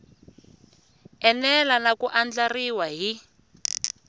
enela na ku andlariwa hi